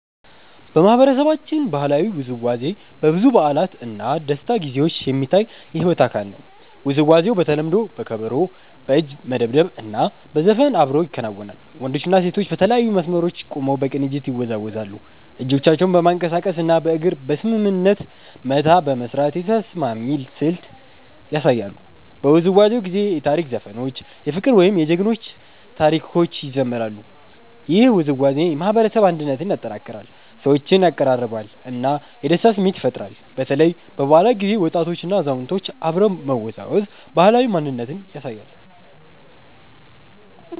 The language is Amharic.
በማህበረሰባችን ባህላዊ ውዝዋዜ በብዙ በዓላት እና ደስታ ጊዜዎች የሚታይ የሕይወት አካል ነው። ውዝዋዜው በተለምዶ በከበሮ፣ በእጅ መደብደብ እና በዘፈን አብሮ ይከናወናል። ወንዶችና ሴቶች በተለያዩ መስመሮች ቆመው በቅንጅት ይወዛወዛሉ፣ እጆቻቸውን በማንቀሳቀስ እና በእግር በስምምነት መታ በመስራት የተስማሚ ስልት ያሳያሉ። በውዝዋዜው ጊዜ የታሪክ ዘፈኖች፣ የፍቅር ወይም የጀግና ታሪኮች ይዘምራሉ። ይህ ውዝዋዜ የማህበረሰብ አንድነትን ያጠናክራል፣ ሰዎችን ያቀራርባል እና የደስታ ስሜት ይፈጥራል። በተለይ በበዓላት ጊዜ ወጣቶችና አዛውንቶች አብረው መወዛወዝ ባህላዊ ማንነትን ያሳያል።